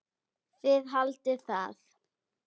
Þið haldið það.